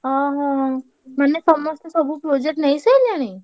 ହଁ ହଁ ମାନେ ସମସ୍ତେ ସବୁ project ନେଇସାଇଲେଣି?